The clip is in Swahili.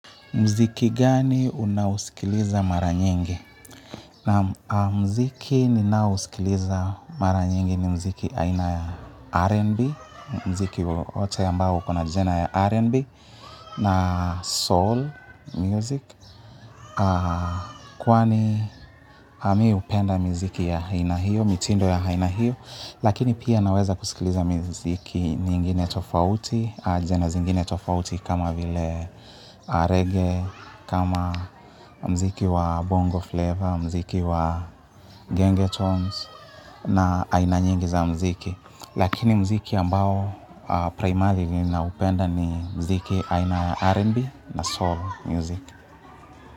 Mziki gani unausikiliza mara nyingi? Naam mziki ninausikiliza mara nyingi ni mziki aina ya R&B, mziki wote ambao uko na jina ya R&B, na soul music. Kwani mi upenda mziki ya haina hiyo, mitindo ya haina hiyo, lakini pia naweza kusikiliza mziki nyingine tofauti, jina zingine tofauti kama vile reggae, kama mziki wa bongo flavor, mziki wa gengetones na aina nyingi za mziki. Lakini mziki ambao primarily naupenda ni mziki aina R&B na soul music.